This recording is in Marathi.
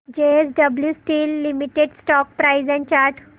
JSW steel limited stock price and chart